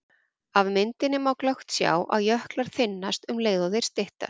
Af myndinni má glöggt sjá að jöklar þynnast um leið og þeir styttast.